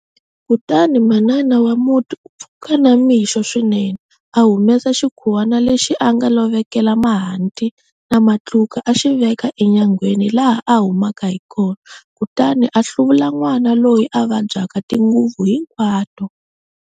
Kutani manana wa muti u pfuka na mixo swinene, a humesa xikhuwana lexi a nga lovekela mahanti na matluka a xi veka enyangweni laha a humaka hi kona, kutani a hluvula n'wana loyi a vabyaka tinguvu hinkwato.